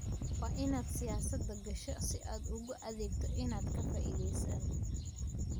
Waa inaad siyaasadda gasho si aad ugu adeegto inaadan ka faa'iidaysan.